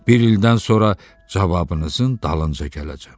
Bir ildən sonra cavabınızın dalınca gələcəm.